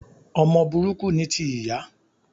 Ọmọ burúkú ni ti ìyá